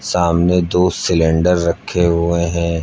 सामने दो सिलेंडर रखे हुए हैं।